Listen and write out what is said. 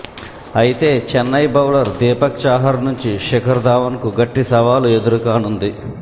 అయితే చెన్నై బౌలర్ దీపక్ చాహార్ నుంచి శిఖర్ ధావన్కు గట్టి సవాల్ ఎదురుకానుంది